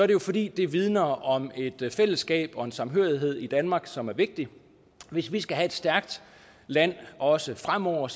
det jo fordi det vidner om et fællesskab og en samhørighed i danmark som er vigtig hvis vi skal have et stærkt land også fremover